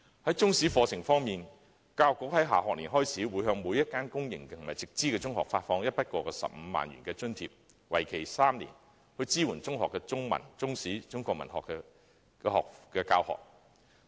在中史課程方面，教育局在下學年開始，會向每所公營及直資中學發放一筆過15萬元的津貼，為期3年，以支援中學的中文、中史及中國文學科的教學。